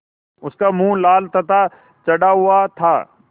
उसका मुँह लाल तथा चढ़ा हुआ था